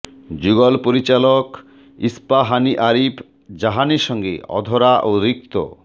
যুগল পরিচালক ইস্পাহানী আরিফ জাহানের সঙ্গে অধরা ও রিক্ত